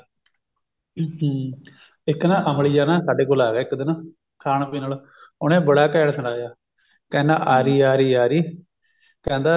ਹਮ ਹਮ ਇੱਕ ਨਾ ਅਮਲੀ ਜਾ ਨਾ ਸਾਡੇ ਕੋਲ ਆ ਗਿਆ ਇੱਕ ਦਿਨ ਖਾਣ ਪੀਣ ਆਲਾ ਉਹਨੇ ਬੜਾ ਘੈਂਟ ਸੁਣਾਇਆ ਕਹਿੰਦਾ ਆਰੀ ਆਰੀ ਆਰੀ ਕਹਿੰਦਾ